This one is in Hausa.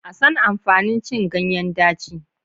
A san amfanin cin ganyen daci.